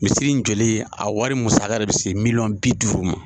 Misiri in jɔli a wari musaka de bɛ se miliyɔn bi duuru ma,